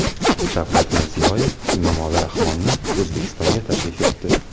Shavkat Mirziyoyev Emomali Rahmonni O‘zbekistonga taklif etdi.